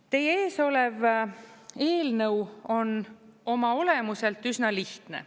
Teie ees olev eelnõu on oma olemuselt üsna lihtne.